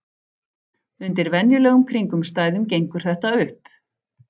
Undir venjulegum kringumstæðum gengur þetta upp.